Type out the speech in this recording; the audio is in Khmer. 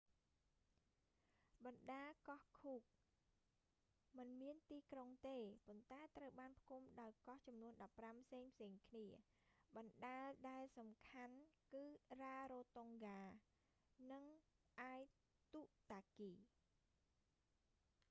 បណ្តាកោះឃូក cook មិនមានទីក្រុងទេ ប៉ុន្តែត្រូវបានផ្តុំដោយកោះចំនួន 15 ផ្សេងៗគ្នា បណ្តាដែលសំខាន់គឺរ៉ារ៉ូតុងហ្គា rarotonga និងអាយទុតាគី aitutaki